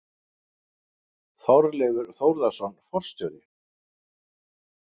Þorleifur Þórðarson forstjóri.